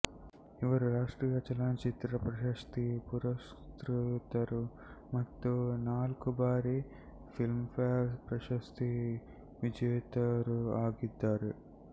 ಇವರು ರಾಷ್ಟ್ರೀಯ ಚಲನಚಿತ್ರ ಪ್ರಶಸ್ತಿ ಪುರಸ್ಕೃತರು ಮತ್ತು ನಾಲ್ಕು ಬಾರಿ ಫಿಲ್ಮ್ಫೇರ್ ಪ್ರಶಸ್ತಿ ವಿಜೇತರೂ ಆಗಿದ್ದಾರೆ